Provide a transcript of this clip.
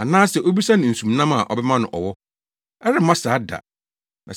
Anaasɛ obisa no nsumnam a ɔbɛma no ɔwɔ? Ɛremma saa da!